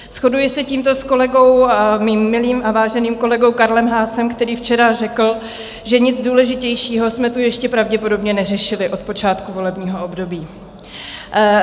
Shoduji se tímto s kolegou, svým milým a váženým kolegou Karlem Haasem, který včera řekl, že nic důležitějšího jsme tu ještě pravděpodobně neřešili od počátku volebního období.